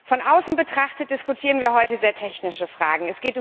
Von außen betrachtet diskutieren wir heute sehr technische Fragen.